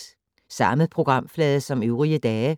Samme programflade som øvrige dage